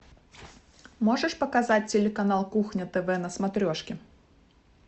можешь показать телеканал кухня тв на смотрешке